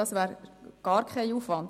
Das wäre also gar kein Aufwand.